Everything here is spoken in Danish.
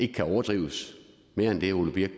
kan overdrives mere end det ole birk